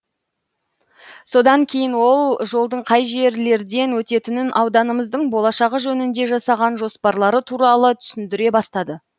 содан кейін ол жолдың қай жерлерден өтетінін ауданымыздың болашағы жөнінде жасаған жоспарлары туралы түсіндіре бастады